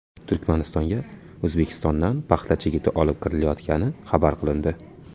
Turkmanistonga O‘zbekistondan paxta chigiti olib kirilayotgani xabar qilindi.